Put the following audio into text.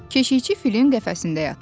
Keşikçi filin qəfəsində yatmışdı.